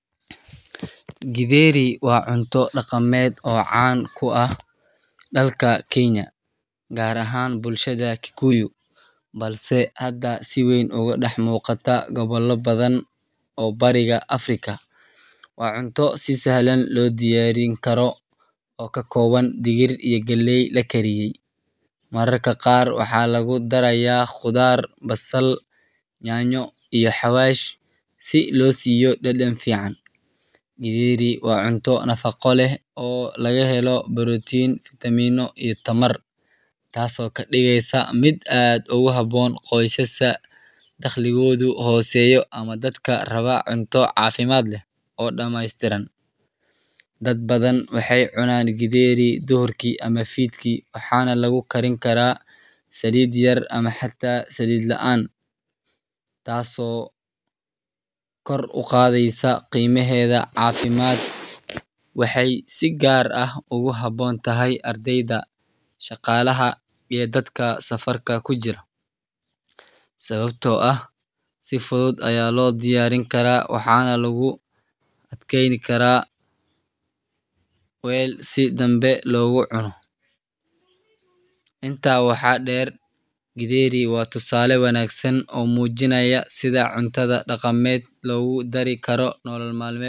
Githeri waa cunto dhaqameed caan ka ah dalka Kenya, gaar ahaan bulshada Kikuyu, balse hadda si weyn uga dhex muuqata gobollo badan oo Bariga Afrika ah. Waa cunto si sahlan loo diyaarin karo oo ka kooban digir iyo galley la kariyey. Mararka qaar waxaa lagu darayaa khudaar, basal, yaanyo, iyo xawaash si loo siiyo dhadhan fiican. Githeri waa cunto nafaqo leh oo laga helo borotiin, fiitamiino, iyo tamar, taasoo ka dhigaysa mid aad ugu habboon qoysaska dakhligoodu hooseeyo ama dadka raba cunto caafimaad leh oo dhammaystiran. Dad badan waxay cunaan githeri duhurkii ama fiidkii, waxaana lagu karin karaa saliid yar ama xitaa saliid la'aan, taas oo kor u qaadaysa qiimaheeda caafimaad. Waxay si gaar ah ugu habboon tahay ardayda, shaqaalaha, iyo dadka safarka ku jira, sababtoo ah si fudud ayaa loo diyaarin karaa waxaana lagu kaydin karaa weel si dambe loogu cuno. Intaa waxaa dheer, githeri waa tusaale wanaagsan oo muujinaya sida cuntada dhaqameed loogu dari karo nolol maalmeedka.